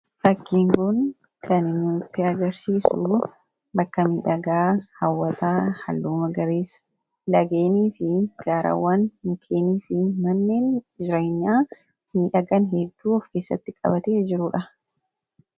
fakkiin kun kan nutti agarsiisu bakka midhagaa hawwataa halluu magariisaa laggeenii fi gaarawwan mukeenii fi manneen jireenyaa miidhagan hedduu of keessatti qabatee jirudha.